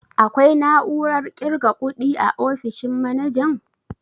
Akwai na'urar ƙirga kuɗi a ofishin manajan?